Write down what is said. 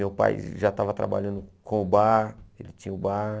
Meu pai já estava trabalhando com o bar, ele tinha o bar.